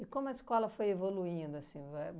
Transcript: como a escola foi evoluindo, assim,